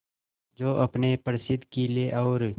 जो अपने प्रसिद्ध किले और